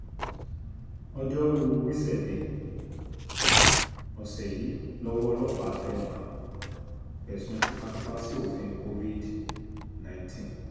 ọjọ́rùú wíṣídẹ̀ẹ́ ọ̀sẹ̀ yìí lọ́wọ́ ọlọ́pàá tẹ́ wọ́n fẹ̀sùn tìtàpá sí òfin covid nineteen